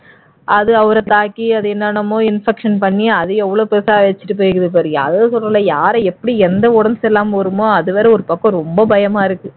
அது அவரை தாக்கி என்னென்னமோ infection பண்ணி அது எவ்வளவு பெருசா வச்சுட்டு போய் இருக்குது பார் அதுதான் சொல்றேன் யாரை எப்படி எந்த உடம்பு சரி இல்லாம வருமோ அதுவேற ஒரு பக்கம் ரொம்ப பயமா இருக்கு